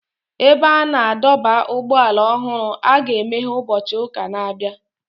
Ebe a na-adọba ụgbọala ọhụrụ a ga-emeghe ụbọchị ụka na-abịa.